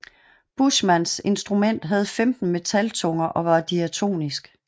Buschmanns instrument havde 15 metaltunger og var diatonisk